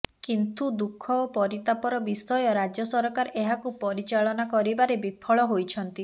କିନ୍ତୁ ଦୁଃଖ ଓ ପରିତାପର ବିଷୟ ରାଜ୍ୟସରକାର ଏହାକୁ ପରିଚାଳନା କରିବାରେ ବିଫଳ ହୋଇଛନ୍ତି